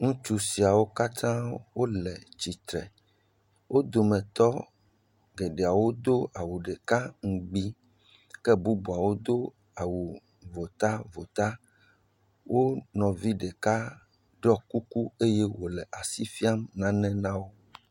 Ŋutsu siawo katã wole tsitre, wo dometɔ geɖewo do awu ɖeka ŋgbi, ke bubuawo do awu votavota, wo nɔvi ɖeka ɖɔ kuku eye wòle asi fia nane na wo.